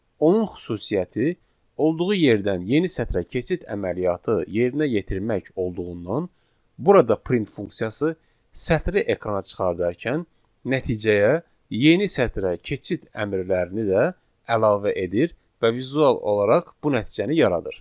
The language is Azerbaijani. Onun xüsusiyyəti olduğu yerdən yeni sətrə keçid əməliyyatı yerinə yetirmək olduğundan burada print funksiyası sətri ekrana çıxardarkən nəticəyə yeni sətrə keçid əmrlərini də əlavə edir və vizual olaraq bu nəticəni yaradır.